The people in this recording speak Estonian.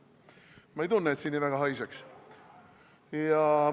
Ma ei tunne, et siin väga haiseks.